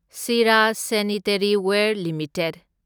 Sira sanitaryware limited